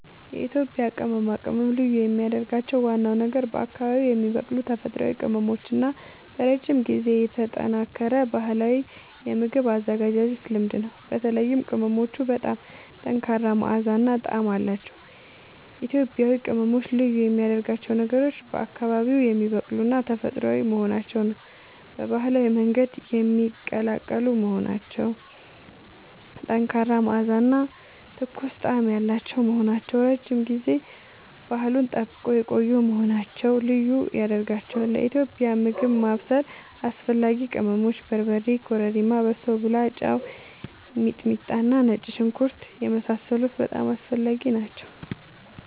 የኢትዮጵያ ቅመማ ቅመም ልዩ የሚያደርገው ዋናው ነገር በአካባቢዉ የሚበቅሉ ተፈጥሯዊ ቅመሞች እና በረጅም ጊዜ የተጠናከረ ባህላዊ የምግብ አዘገጃጀት ልምድ ነው። በተለይም ቅመሞቹ በጣም ጠንካራ መዓዛ እና ጣዕም አላቸዉ። ኢትዮጵያዊ ቅመሞች ልዩ የሚያደርጋቸው ነገሮች፦ በአካባቢዉ የሚበቅሉና ተፈጥሯዊ መሆናቸዉ፣ በባህላዊ መንገድ የሚቀላቀሉ መሆናቸዉ፣ ጠንካራ መዓዛ እና ትኩስ ጣዕም ያላቸዉ መሆናቸዉ፣ ረዥም ጊዜ ባህሉን ጠብቀዉ የቆዪ መሆናቸዉ ልዪ ያደርጋቸዋል። ለኢትዮጵያዊ ምግብ ማብሰል አስፈላጊ ቅመሞች፦ በርበሬ፣ ኮረሪማ፣ በሶብላ፣ ጨዉ፣ ሚጥሚጣና ነጭ ሽንኩርት የመሳሰሉት በጣም አስፈላጊ ናቸዉ